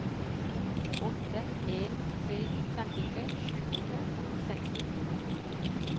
to åtte en tre femtitre sju hundre og sekstifire